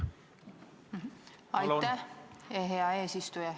Aitäh, hea eesistuja!